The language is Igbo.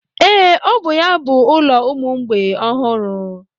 Ee, ọ bụ ya bụ ụlọ ụmụ mgbei ọhụrụ.